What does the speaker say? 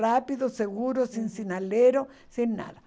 Rápido, seguro, sem sinalero, sem nada.